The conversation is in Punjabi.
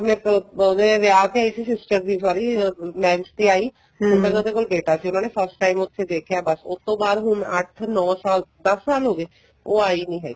ਆਪਣੇ ਉਹਦੇ ਵਿਆਹ ਤੇ ਆਈ ਸੀ sister ਦੇ sorry marriage ਤੇ ਆਈ ਪਹਿਲਾਂ ਉਹਦੇ ਕੋਲ ਬੇਟਾ ਸੀ ਉਹਨਾ ਨੇ first time ਉੱਥੇ ਦੇਖਿਆ ਬੱਸ ਉਸ ਤੋ ਬਾਅਦ ਹੁਣ ਅੱਠ ਨੋ ਸਾਲ ਦੱਸ ਸਾਲ ਹੋਗੇ ਉਹ ਆਈ ਨਹੀਂ ਹੈਗੀ